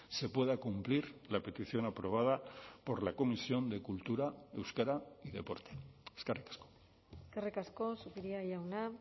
se pueda cumplir la petición aprobada por la comisión de cultura euskera y deporte eskerrik asko eskerrik asko zupiria jauna